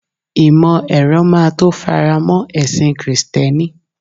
imo ero ma to faramo ẹsìn Kristẹni